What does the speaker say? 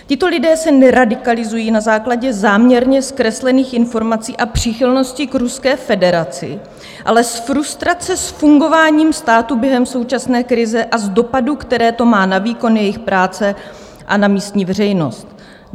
Tito lidé se neradikalizují na základě záměrně zkreslených informací a příchylnosti k Ruské federaci, ale z frustrace s fungováním státu během současné krize a z dopadů, které to má na výkon jejich práce a na místní veřejnost."